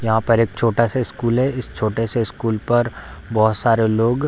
यहाँ पर एक छोटा-सा स्कूल है इस छोटे से स्कूल पर बहुत सारे लोग --